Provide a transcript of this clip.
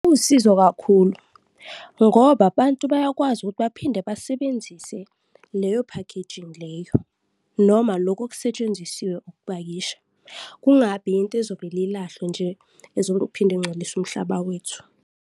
Iwusizo kakhulu ngoba abantu bayakwazi ukuthi baphinde basebenzise leyo packaging leyo noma loku okusetshenzisiwe ukupakisha, kungabi yinto ezovele ilahlwe nje, ezoluku iphinde ingcolise umhlaba wethu.